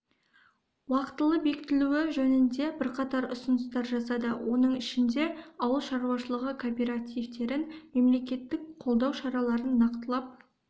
уақтылы бекітілуі жөнінде бірқатар ұсыныстар жасады оның ішінде ауыл шаруашылығы кооперативтерін мемлекеттік қолдау шараларын нақтылап